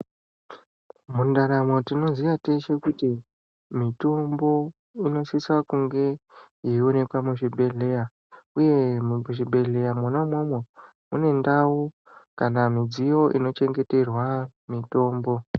Mundaramo tinoziya teshe kuti mitombo inosisa kunge yeionekwa muzvibhedhleya, uye muzvibhedhleya mwona umwomwo ,mune ndau kana mudziyo inochengeterwa mitombo.